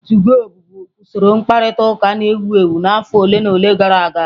2go bụbu usoro mkparịta ụka na-ewu ewu n'afọ ole na ole gara aga.